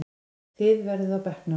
Þið verðið á bekknum!